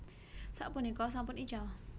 Sapunika sampun ical